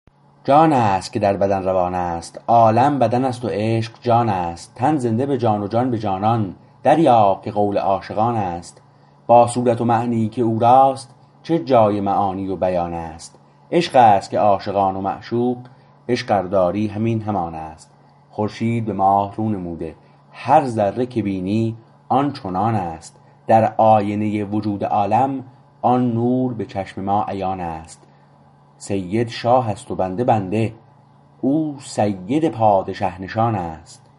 جانست که در بدن روانست عالم بدن است و عشق جانست تن زنده به جان و جان به جانان دریاب که قول عاشقانست با صورت و معنیی که او راست چه جای معانی و بیانست عشقست که عاشقان و معشوق عشق ار داری همین همانست خورشید به ماه رو نموده هر ذره که بینی آن چنانست در آینه وجود عالم آن نور به چشم ما عیانست سید شاه است و بنده بنده او سید پادشه نشانست